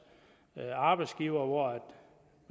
arbejdsgivere